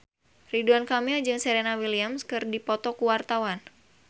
Ridwan Kamil jeung Serena Williams keur dipoto ku wartawan